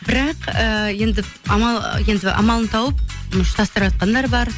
бірақ ыыы енді енді амалын тауып ұштастырыватқандар бар